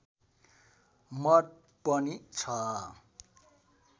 मत पनि छ